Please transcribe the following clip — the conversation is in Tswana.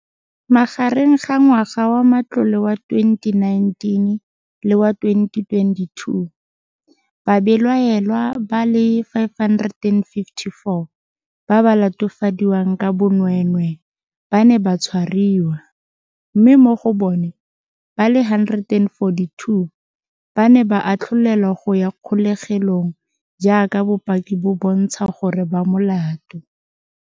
Magareng ga ngwaga wa matlole wa 2019 le wa 2022, babelaelwa ba le 554 ba ba latofadiwang ka bonweenwee ba ne ba tshwariwa, mme mo go bona ba le 142 ba ne ba atlholelwa go ya kgolegelong jaaka bopaki bo bontsha gore ba molato.